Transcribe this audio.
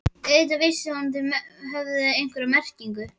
Auðvitað vissi hún að þeir höfðu einhverja merkingu.